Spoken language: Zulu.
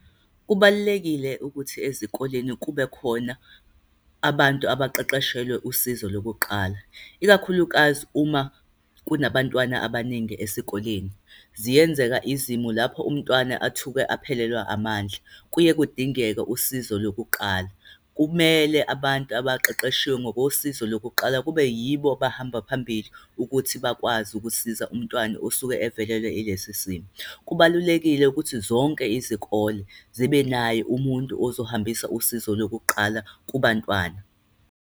Kubalulekile ukuthi ezikoleni kube khona abantu abaqeqeshelwe usizo lokuqala, ikakhulukazi uma kunabantwana abaningi esikoleni. Ziyenzeka izimo lapho umntwana athuke aphelelwa amandla, kuye kudingeke usizo lokuqala. Kumele abantu abaqeqeshiwe ngosizo lokuqala kube yibo abahamba phambili ukuthi bakwazi ukusisiza umntwana osuke evelelwe ilesi simo. Kubalulekile ukuthi zonke izikole zibe naye umuntu ozohambisa usizo lokuqala kubantwana.